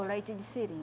O leite de seringa